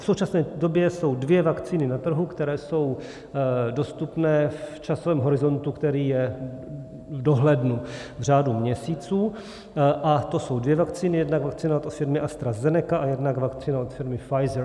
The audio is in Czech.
V současné době jsou dvě vakcíny na trhu, které jsou dostupné v časovém horizontu, který je v dohlednu v řádu měsíců, a to jsou dvě vakcíny, jednak vakcína od firmy AstraZeneca a jednak vakcína od firmy Pfizer.